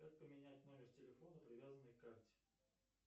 как поменять номер телефона привязанный к карте